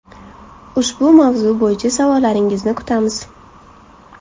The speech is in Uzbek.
Ushbu mavzu bo‘yicha savollaringizni kutamiz.